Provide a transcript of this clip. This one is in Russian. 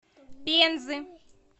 пензы